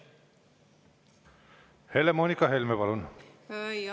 Helle-Moonika Helme, palun!